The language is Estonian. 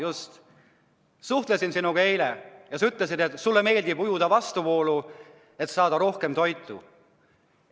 Ma suhtlesin sinuga eile ja sa ütlesid, et sulle meeldib ujuda vastuvoolu, et saada rohkem toitu.